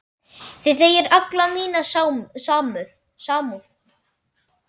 Þið eigið alla mína samúð.